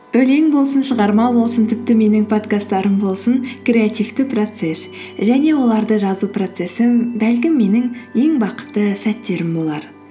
өлең болсын шығарма болсын тіпті менің подкасттарым болсын креативті процесс және оларды жазу процессі бәлкім менің ең бақытты сәттерім болар